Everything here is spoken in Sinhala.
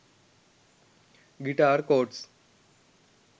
guitar chords